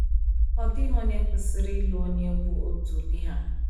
Ọ dịghị onye kwesịrị ịlụ onye bụ otu ụdị ha.